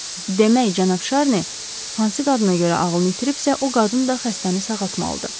Demək, cənab Şarni, hansı qadına görə ağlını itiribsə, o qadın da xəstəni sağaltmalıdır.